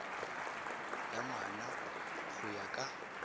ya ngwana go ya ka